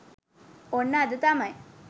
ඔන්න අද තමයි.